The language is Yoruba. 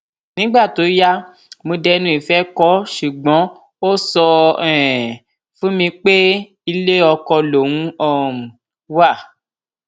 nígbà tó yá mo dẹnu ìfẹ kó o ṣùgbọn ó sọ um fún mi pé ilé oko lòún um wà